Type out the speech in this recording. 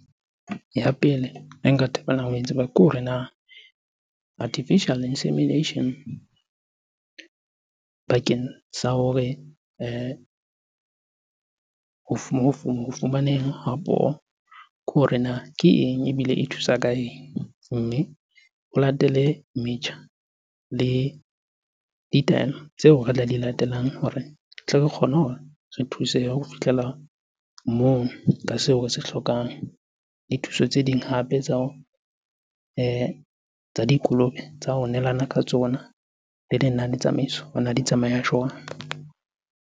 Ya pele e nka thabelang ho e tseba ke hore na artificial insemination bakeng sa hore ho fumaneng ke hore na ke eng ebile e thusa ka eng? Mme o latele metjha le ditaelo tseo re tla di latelang hore tle re kgone hore re thusehe ho fihlela moo ka seo re se hlokang. Le thuso tse ding hape tsa tsa dikolobe tsa ho nehelana ka tsona. Le lenane tsamaiso di tsamaya jwang?